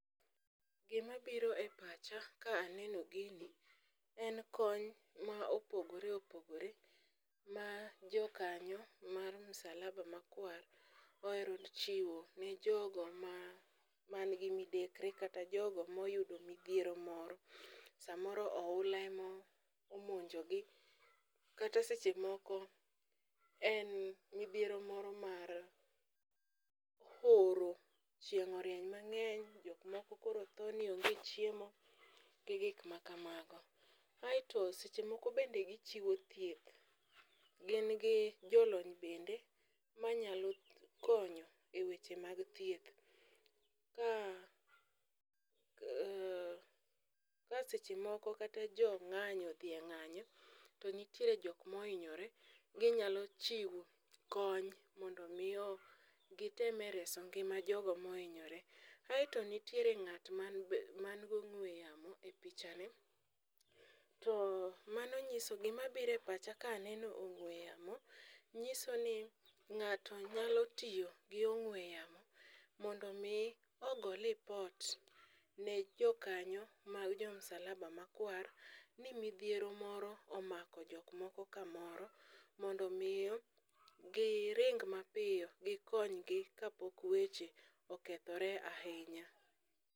Gima biro e pacha ka aneno gini en kony ma opogore opogore ma jokanyo mar Msalaba Makwar ohero chiwo ne jogo man gi midekre kata jogo moyudo midhiero moro. Samoro ohula emo omonjo gi, kata seche moko en midhiero moro mar horo. Chieng' orieny mang'eny, jok moko koro tho ni onge chiemo gi gik ma kamago. Aeto seche moko be gichiwo thieth, gi gi jolony bende manyalo konyo e weche mag thieth. Ka a ka seche moko kata jo ng'anyo odhi e ng'anyo to nitiere jok mohinyore, hinyalo chiwo kony mondo mi o giteme reso ngima jogo mohinyore. Aeto nitiere ng'at man man gong'we yamo e picha ni to mano nyiso ni gima bire pacha kaneno ong'we yamo. Ng'iso ni ng'ato nyalo tiyo gi ong'we yamo mondo mi ogo lipot ne jokanyo ma jo Msalaba Makwar, ni midhiero moro omako jok moko kamoro. Mondo miyo gi ring mapiyo gikony gi kapok weche okethore ahinya.